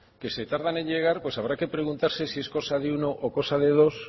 que se tardan en llegar pues habrá que preguntarse si es cosa de uno o cosa de dos